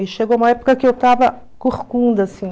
E chegou uma época que eu estava corcunda, assim.